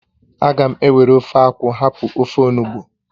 Aga m ewere ofe akwụ hapụ ofe onugbụ